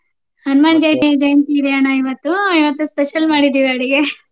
ಹನುಮಾನ್ ಜಯಂ~ ಜಯಂತಿ ಇದೆ ಅಣ್ಣ ಇವತ್ತು. ಇವತ್ತು special ಮಾಡಿದ್ದೇವೆ ಅಡುಗೆ